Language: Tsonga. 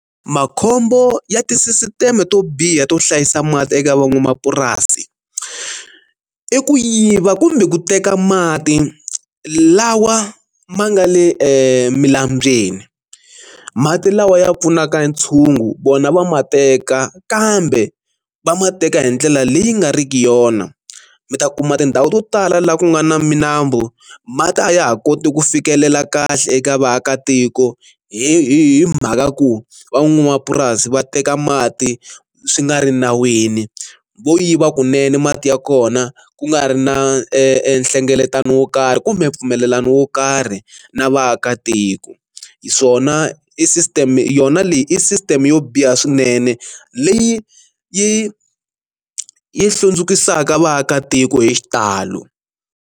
Makhombo ya tisisiteme to biha to hlayisa mati eka van'wamapurasi i ku yiva kumbe ku teka mati lawa ma nga le emilambyeni, mati lawa ya pfunaka ntshungu vona va ma teka kambe va ma teka hi ndlela leyi nga riki yona, mi ta kuma tindhawu to tala laha ku nga na minambu mati a ya ha koti ku fikelela kahle eka vaakatiko hi hi mhaka ku van'wamapurasi va teka mati swi nga ri nawini, vo yiva kunene mati ya kona ku nga ri na e nhlengeletano wo karhi kumbe mpfumelelano wo karhi na vaakatiko, swona i system yona leyi i system yo biha swinene leyi yi yi hlundzukisaka vaakatiko hi xitalo.